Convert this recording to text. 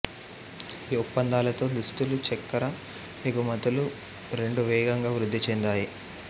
ఈ ఒప్పందాలతో దుస్తులు చక్కెర ఎగుమతులు రెండూ వేగంగా వృద్ధి చెందాయి